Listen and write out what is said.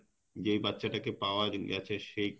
যে বাচ্চা টাকে পাওয়া গেছে সেই